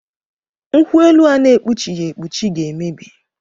Nkwuelu a na-ekpuchighi ekpuchi ga-emebi